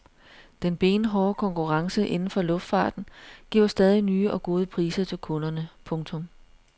Den benhårde konkurrence inden for luftfarten giver stadig nye og gode priser til kunderne. punktum